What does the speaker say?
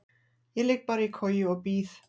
Ég ligg bara í koju og bíð.